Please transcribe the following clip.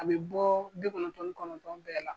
A bɛ bɔ bi kɔnɔntɔn ni kɔnɔntɔn bɛɛ la.